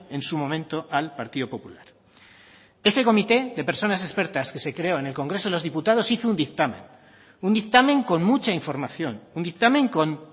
en su momento al partido popular ese comité de personas expertas que se creó en el congreso de los diputados hizo un dictamen un dictamen con mucha información un dictamen con